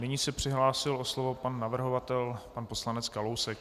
Nyní se přihlásil o slovo pan navrhovatel pan poslanec Kalousek.